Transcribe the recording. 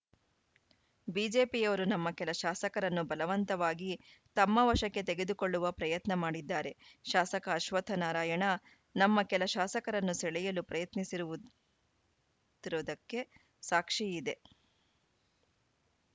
ಬಿಜೆಪಿಯವರು ನಮ್ಮ ಕೆಲ ಶಾಸಕರನ್ನು ಬಲವಂತವಾಗಿ ತಮ್ಮ ವಶಕ್ಕೆ ತೆಗೆದುಕೊಳ್ಳುವ ಪ್ರಯತ್ನ ಮಾಡಿದ್ದಾರೆ ಶಾಸಕ ಅಶ್ವತ್ಥನಾರಾಯಣ ನಮ್ಮ ಕೆಲ ಶಾಸಕರನ್ನು ಸೆಳೆಯಲು ಪ್ರಯತ್ನಿಸಿರುವುದು ತಿರುವುದಕ್ಕೆ ಸಾಕ್ಷಿ ಇದೆ